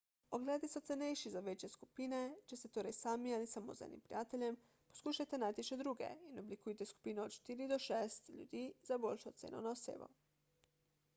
ogledi so cenejši za večje skupine če ste torej sami ali samo z enim prijateljem poskušajte najti še druge in oblikujte skupino od štiri do šest ljudi za boljšo ceno na osebo